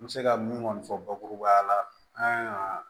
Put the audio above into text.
N bɛ se ka min kɔni fɔ bakurubaya la an ka